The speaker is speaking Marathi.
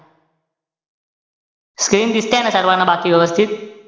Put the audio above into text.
Screen दिसतेय ना सर्वांना बाकी व्यवस्थित?